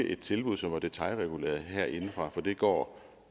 et tilbud som var detailreguleret herindefra for det går